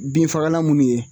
Binfagalan munnu ye